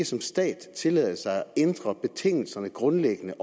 som stat tillade sig at ændre betingelserne grundlæggende